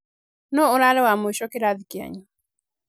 Nũ urarĩ Wa mũico kĩrathi kĩanyu?